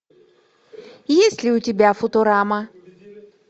есть ли у тебя футурама